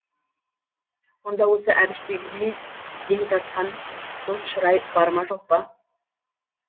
онда осы әбіштегідей ден тартқан дос шырай бар ма жоқ па